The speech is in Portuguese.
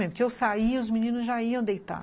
Porque eu saía e os meninos já iam deitar.